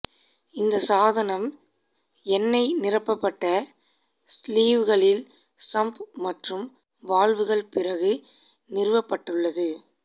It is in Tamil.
இந்த சாதனம் எண்ணெய் நிரப்பப்பட்ட ஸ்லீவ்களில் சம்ப் மற்றும் வால்வுகள் பிறகு நிறுவப்பட்டுள்ளது